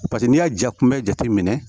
Paseke n'i y'a ja kunbɛ jateminɛ